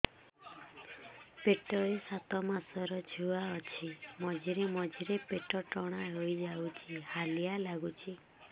ପେଟ ରେ ସାତମାସର ଛୁଆ ଅଛି ମଝିରେ ମଝିରେ ପେଟ ଟାଣ ହେଇଯାଉଚି ହାଲିଆ ଲାଗୁଚି